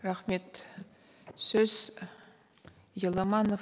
рахмет сөз еламанов